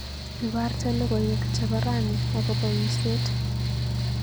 Ibarte logoywek chebo Rani agoba uiset